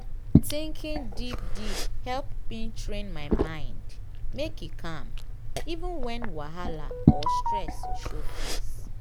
thinking deep deepe help me train my mind make e calm even when wahala or stress show face.